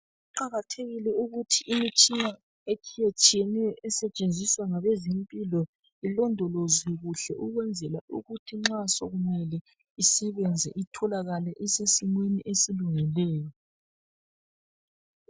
Kuqakathekile ukuthi imitshina etshiyetshiyeneyo esetshenziswa ngabezempilo ilondolozwe kuhle. Ukwenzela ukuthi nxa sokumele isebenze itholakale isesimeni esilungileyo.